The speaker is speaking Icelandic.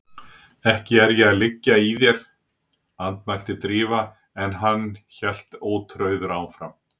Ekki er ég að liggja í þér- andmælti Drífa en hann hélt ótrauður áfram